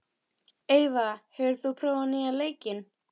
Eyva, hefur þú prófað nýja leikinn?